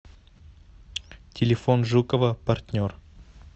телефон жукова партнер